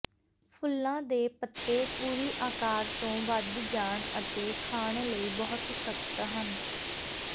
ਫੁੱਲਾਂ ਦੇ ਪੱਤੇ ਪੂਰੀ ਆਕਾਰ ਤੋਂ ਵਧ ਜਾਣ ਅਤੇ ਖਾਣ ਲਈ ਬਹੁਤ ਸਖ਼ਤ ਹਨ